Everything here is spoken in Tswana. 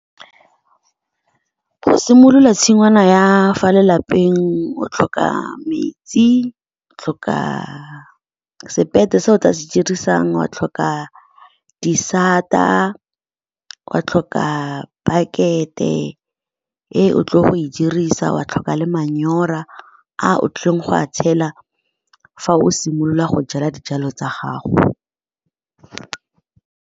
Go simolola tshingwana ya fa lelapeng, o tlhoka metsi, o tlhoka se o tla se dirisang, wa tlhoka disata, o ka tlhoka pakete e o tlile go e dirisa, wa tlhoka le manyora a o tlileng go a tshela fa o simolola go jala dijalo tsa gago.